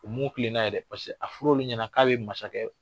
U mun tilen n'a ye dɛ a fɔr'olu ɲɛna k'a bɛ masakɛ